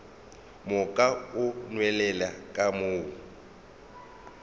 moka o nwelele ka mo